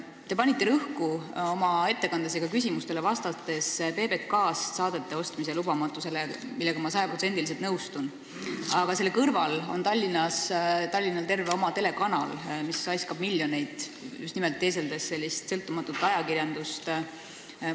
Te panite rõhku oma ettekandes ja ka küsimustele vastates PBK-st saadete ostmise lubamatusele – ja ma olen sellega sada protsenti nõus –, aga selle kõrval on Tallinnal terve oma telekanal, mis raiskab miljoneid, teeseldes sõltumatut ajakirjandust.